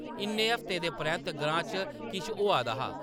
इन्ने हफ्तें दे परैंत्त ग्रां च किश होआ दा हा ।